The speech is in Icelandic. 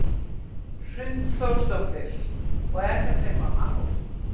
Hrund Þórsdóttir: Og er þetta eitthvað mál?